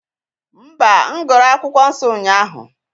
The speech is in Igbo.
Mba, m gụrụ akwụkwọ nsọ ụnyahụ